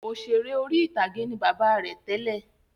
Òṣèré orí-ìtàgé ni bàbá rẹ̀ tẹ́lẹ̀